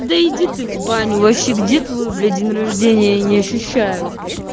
да иди ты в баню вообще где твоё блять день рождения я не ощущаю